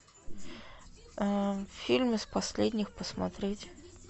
фильм из последних посмотреть